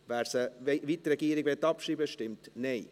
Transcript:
wer es, wie die Regierung, abschreiben möchte, stimmt Nein.